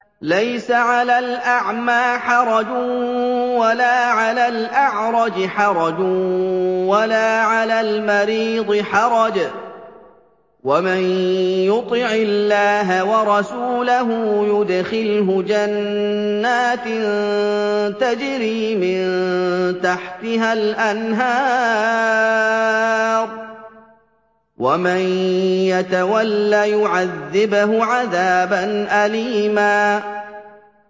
لَّيْسَ عَلَى الْأَعْمَىٰ حَرَجٌ وَلَا عَلَى الْأَعْرَجِ حَرَجٌ وَلَا عَلَى الْمَرِيضِ حَرَجٌ ۗ وَمَن يُطِعِ اللَّهَ وَرَسُولَهُ يُدْخِلْهُ جَنَّاتٍ تَجْرِي مِن تَحْتِهَا الْأَنْهَارُ ۖ وَمَن يَتَوَلَّ يُعَذِّبْهُ عَذَابًا أَلِيمًا